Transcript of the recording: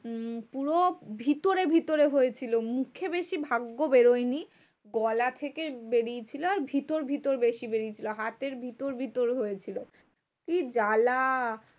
উম পুরো ভিতরে ভিতরে হয়েছিল। মুখে বেশি ভাগ্য বেরোয়নি। গলা থেকে বেরিয়েছিল আর ভিতর ভিতর বেশি বেরিয়েছিল। হাতের ভিতর ভিতর হয়েছিল। কি জ্বালা?